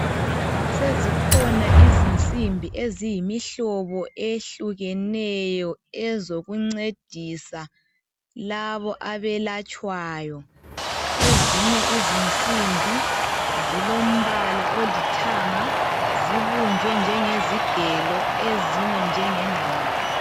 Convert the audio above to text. Sezikhona izinsimbi eziyimihlobo eyehlukeneyo ozokuncedisa labo abelatshwayo ezinye izinsimbi zilombala olithanga zibunjwe njengezigelo ezinye njengengqamu.